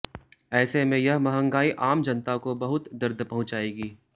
ऐसे में यह महंगाई आम जनता को बहुत दर्द पहुंचाएगी